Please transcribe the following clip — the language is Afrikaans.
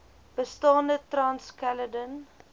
bestaande trans caledon